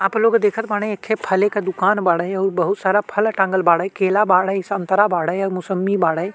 आप लोग देखत बाड़े एखे फले क दुकान बाड़े अउर बहुत सारा फल टाँगल बाड़े। केला बाड़े संतरा बाड़े अउर मोसम्मी बाड़े।